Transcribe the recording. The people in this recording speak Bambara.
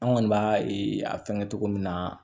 An kɔni b'a a fɛngɛ cogo min na